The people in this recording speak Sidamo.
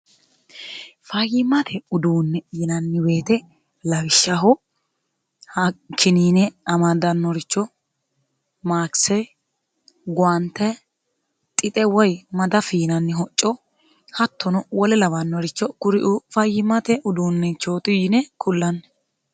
fayyimate uduunne yinanni weete lawishshaho hakiniine amadannoricho maakise gwaante xixe woy mada fiinanni hocco hattono wole lawannoricho kurifayimate uduunnechooti yine kullanni